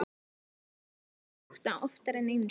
Þá heyrði ég rúður brotna, oftar en einu sinni.